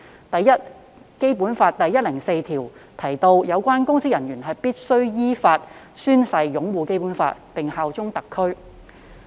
第一，《基本法》第一百零四條訂明，有關公職人員必須依法宣誓擁護《基本法》並效忠特區。